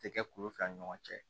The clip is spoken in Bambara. Tɛ kɛ kulu fila ni ɲɔgɔn cɛ